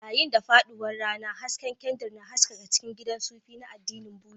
Yayin da faɗuwar rana, hasken kyandir na haskaka cikin gidan sufi na addinin Buddha.